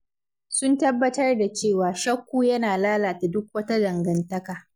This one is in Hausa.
Sun tabbatar da cewa shakku yana lalata duk wata dangantaka.